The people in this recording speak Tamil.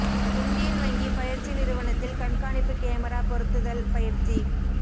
இந்தியன் வங்கி பயிற்சி நிறுவனத்தில் கண்காணிப்பு கேமரா பொருத்துதல் பயிற்சி